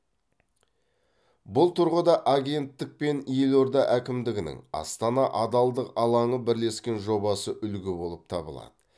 бұл тұрғыда агенттік пен елорда әкімдігінің астана адалдық алаңы бірлескен жобасы үлгі болып табылады